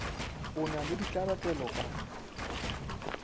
o na le ditlabelo ka